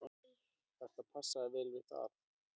Þetta passar vel við það.